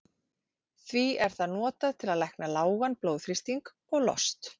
Það er því notað til að lækna lágan blóðþrýsting og lost.